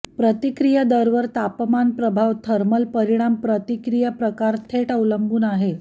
प्रतिक्रिया दर वर तापमान प्रभाव थर्मल परिणाम प्रतिक्रिया प्रकार थेट अवलंबून आहे